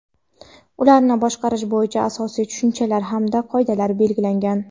ularni boshqarish bo‘yicha asosiy tushunchalar hamda qoidalar belgilangan.